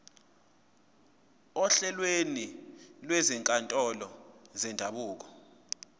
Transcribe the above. ohlelweni lwezinkantolo zendabuko